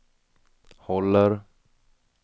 håller